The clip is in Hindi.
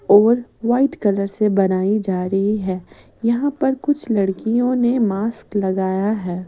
और वाइट कलर से बनाई जा रही है यहां पर कुछ लड़कियों ने मास्क लगाया है।